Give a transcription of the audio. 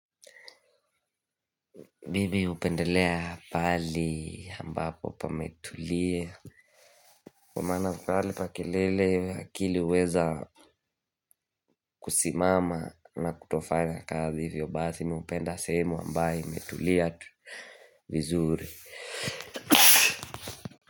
Mimi hupendelea pahali ambapo pametulia kwa maana pahali pa kelele akili huweza kusimama na kutofanya kazi hivyo basi mi hupenda sehemu ambayo imetulia vizuri.